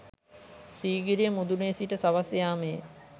සීගිරිය මුදුනේ සිට සවස් යාමයේ